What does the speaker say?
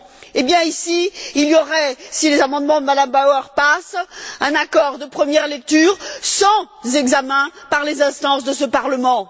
Eh bien ici, il y aurait, si les amendements de M me Bauer passent, un accord de première lecture sans examen par les instances de ce Parlement.